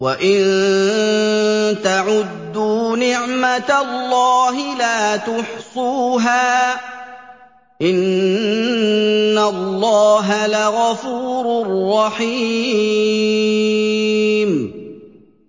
وَإِن تَعُدُّوا نِعْمَةَ اللَّهِ لَا تُحْصُوهَا ۗ إِنَّ اللَّهَ لَغَفُورٌ رَّحِيمٌ